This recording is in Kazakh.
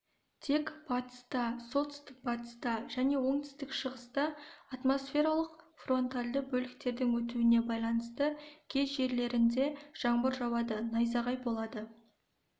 тек батыста солтүстік-батыста және оңтүстік-шығыста атмосфералық фронтальды бөліктердің өтуіне байланысты кей жерлерінде жаңбыр жауады найзағай болады